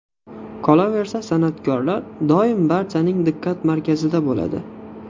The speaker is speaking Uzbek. Qolaversa, san’atkorlar doim barchaning diqqat markazida bo‘ladi.